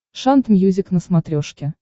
шант мьюзик на смотрешке